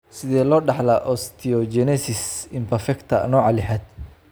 Sidee loo dhaxlaa osteogenesis imperfecta nooca lixad?